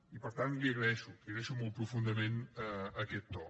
i per tant l’hi agraeixo li agraeixo molt profundament aquest to